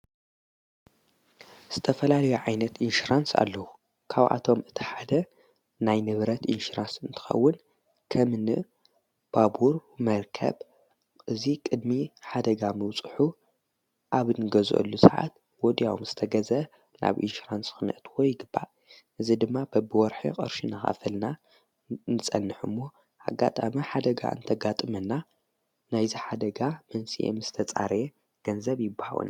ዝተፈላልዮ ዓይነት ኢንሽራንስ ኣለዉ ካውኣቶም እቲ ሓደ ናይ ንብረት ኢንሽራንስ እንትኸውን ከምኒ ባቡር መርከብ እዙይ ቕድሚ ሓደጋ ምውጽሑ ኣብ ንገዘሉ ሰዓት ወድያውም ዝተገዘ ናብ ኢንሽራንስ ኽነትዎ ይግባል እዝ ድማ በብወርሒቕርሽን ኻፈልና ንጸንሕ ሞ ሓጋጥመ ሓደጋ እንተጋጥመና ናይዝ ሓደጋ መንስየ ምስ ተጻረየ ገንዘብ ይበሃወና።